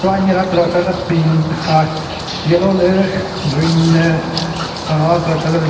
Anye ne a-colour kechacha pink aah yellow le green ne aah a-colour kechacha le binyon.